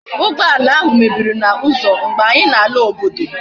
Ugboala ahu mebiri na uzo mgbe anyi na ala obodo